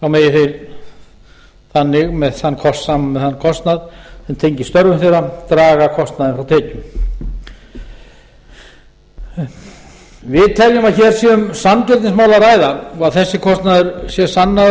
megi þeir þannig með þann kostnað sem tengist störfum þeirra draga kostnaðinn frá tekjum við teljum að hér sé um sanngirnismál að ræða og að þessi kostnaður sé sannaður